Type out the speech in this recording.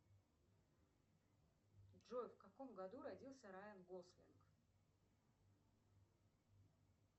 джой в каком году родился райан гослинг